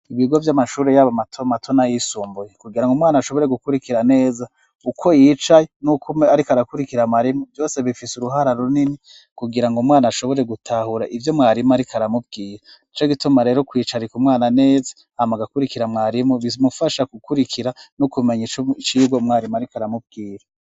Ibigo vy'amashuri yaba mato mato nayisumbuye kugirango umwana ashobore gukurikira neza uko yicaye nuko umwe ariko arakurikira mwarimu vyose bifise uruhara runini kugirango umwana ashobore gutahura ivyo mwarimu ari aramubwira nico gituma rero ari kwicarika umwana neza hama agakurikira mwarimu bimufasha gukurikira no kumenya icigwa mwarimu ariko aramubwira.